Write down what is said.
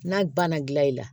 N'a banna gilan i la